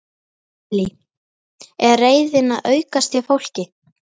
Lillý: Er reiðin að aukast hjá fólki?